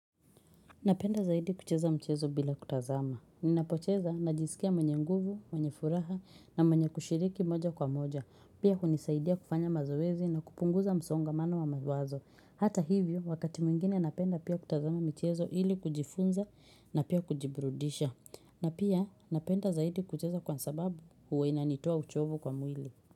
Napenda zaidi kucheza mchezo bila kutazama. Ninapocheza najisikia mwenye nguvu, mwenye furaha na mwenye kushiriki moja kwa moja. Pia hunisaidia kufanya mazoezi na kupunguza msongamano wa mawazo. Hata hivyo, wakati mwingine napenda pia kutazama michezo ili kujifunza na pia kujibrudisha. Na pia napenda zaidi kucheza kwa sababu huwa inanitoa uchovu kwa mwili.